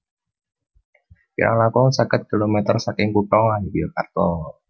Kirang langkung seket kilometer saking kutha Yogyakarta